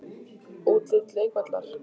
Útlit leikvallar?